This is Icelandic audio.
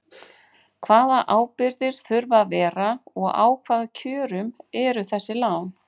Hvaða ábyrgðir þurfa að vera og á hvaða kjörum eru þessi lán?